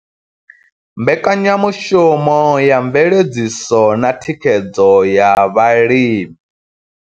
Mbekanyamushumo ya mveledziso na thikhedzo ya vhalimi.